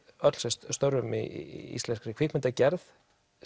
öll sem störfum í íslenskri kvikmyndagerð